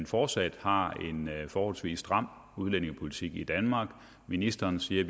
fortsat har en forholdsvis stram udlændingepolitik i danmark ministeren siger at